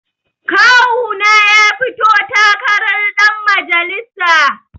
Kawuna ya fito takarar ɗan majalisa